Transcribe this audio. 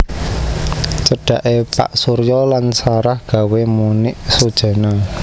Cedhaké Pak Surya lan Sarah gawé Monik sujana